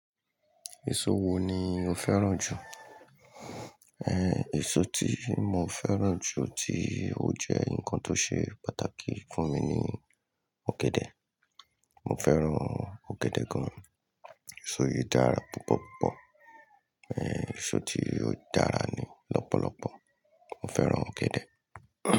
Èso wo ni o fẹ́ràn jù? Ehn, èso tí mo fẹ́ràn jù tí ó jẹ́ nǹkan tó ṣe pàtàkì fún mi ni ọ̀gẹ̀dẹ̀. Mo fẹ́ràn ọ̀gẹ̀dẹ̀ gan. Èso yìí dára púpọ̀púpọ̀. Ehn, èso tí ó dára ni lọ́pọ̀lọpọ̀. Mo fẹ́ràn ọ̀gẹ̀dẹ̀.